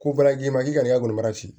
Ko balaji ma ɲi i ka n'i ka golomasi